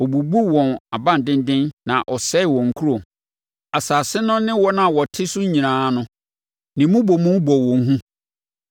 Ɔbubuu wɔn abandenden na ɔsɛee wɔn nkuro. Asase no ne wɔn a wɔte so nyinaa no, ne mmobomu bɔɔ wɔn hu.